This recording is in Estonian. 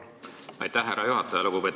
Aitäh, härra juhataja!